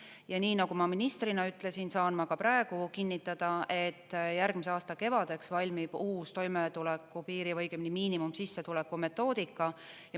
Ja nii, nagu ma ministrina ütlesin, saan ma ka praegu kinnitada, et järgmise aasta kevadeks valmib uus toimetulekupiiri või õigemini miinimumsissetuleku metoodika.